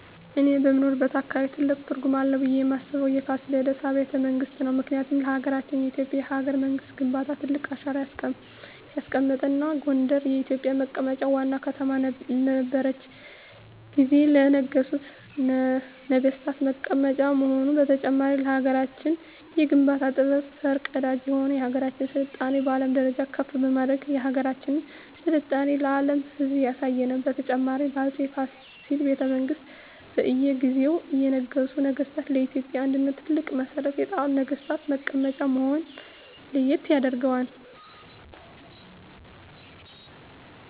እኔ በምኖርበት አካባቢ ትልቅ ትርጉም አለው ብየ ማስበው የፋሲለደስ አቢያተ መንግስት ነው ምክንያቱም ለሀገረችን የኢትዮጵያ የሀገረ መንግስት ግንባታ ትልቅ አሻራ ያስቀመጠ እና ጎንደር የኢትዮጵ መቀመጫ ዋና ከተማ በነረችት ጊዜ ለነገሡ ነጠገስታት መቀመጫ መሆኑ በተጨማሪም ለሀገራችን የግንባታ ጥበብ ፈር ቀዳጅ የሆነ የሀገራችን ስልጣኔ በአለም ደረጃ ከፍ በማድረግ የሀገራችን ስልጣኔ ለአም ህዝብ ያሳየ ነው። በተጨማሪም በ አፄ ፋሲል ቤተመንግስት በእየ ጊዜው የነገሱ ነገስታ ለኢትዮጵያ አንድነት ትልቅ መሠረት የጣሉ ነግስታት መቀመጫ መሆነ ለየት ያደርገዋል።